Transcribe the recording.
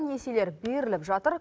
несиелер беріліп жатыр